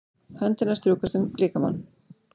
Hönd hennar strjúkast um líkamann.